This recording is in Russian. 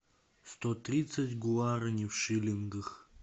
сто тридцать гуарани в шиллингах